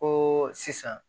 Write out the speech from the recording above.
Ko sisan